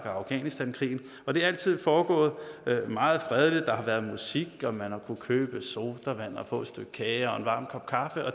og afghanistankrigen og det er altid foregået meget fredeligt der har været musik og man har kunnet købe sodavand og få et stykke kage og en varm kop kaffe